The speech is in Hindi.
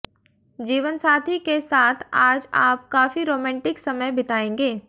जीवनसाथी के साथ आज आप काफी रोमांटिक समय बिताएंगे